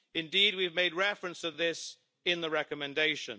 Indeed, we have made reference to this in the recommendation.